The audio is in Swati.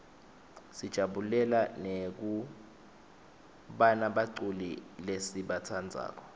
sijabulela nekubana buculi lesibatsandzako